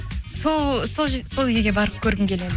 сол сол сол елге барып көргім келеді